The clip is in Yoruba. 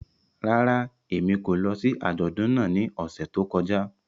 Rárá, Emi ko lọ si ajọdun náà ni ọsẹ to kọja.